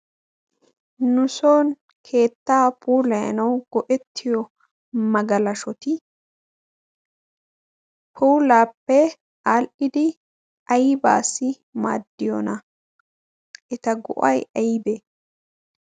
Nu soon keettay puulayanaw go'ettiyo magalashshoti puulappeaadhdhidi aybba maagiyoona? eta go'ay aybbe?